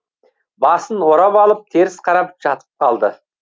басын орап алып теріс қарап жатып қалды